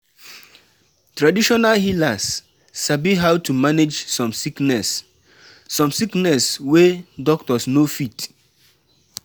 Wen dem sick, pipo go rush go see traditional healer before hospital.